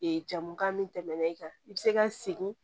Ee jamukan min tɛmɛna i kan i bɛ se ka segin